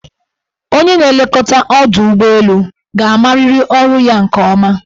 Onye na-elekọta ọdọụgbọelu ka amariri ọrụ ya nke ọma.